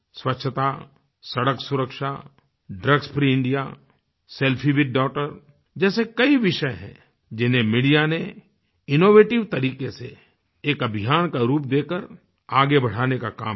स्वच्छता सड़क सुरक्षा drugs free India selfie with doctor जैसे कई विषय हैं जिन्हें मीडिया ने इनोवेटिव तरीके से एक अभियान का रूप देकर आगे बढ़ाने का काम किया